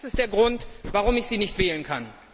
Das ist der Grund, warum ich Sie nicht wählen kann.